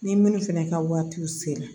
Ni minnu fɛnɛ ka waati sera